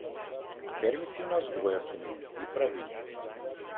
Permisivna vzgoja se mi ne zdi pravilna.